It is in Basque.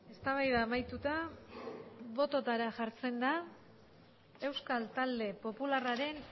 eztabaida amaituta botoetara jartzen da euskal talde popularraren